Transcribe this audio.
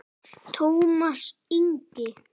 Tómas Ingi.